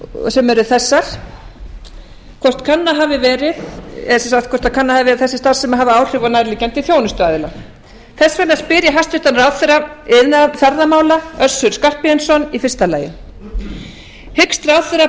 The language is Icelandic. sem eru þessar í fyrsta lagi hvort kannað hafi verið að þessi starfsemi hafi áhrif á nærliggjandi þjónustuaðila þess vegna spyr ég hæstvirtan ráðherra iðnaðar og ferðamála össur skarphéðinsson í fyrsta lagi fyrstu hyggst ráðherra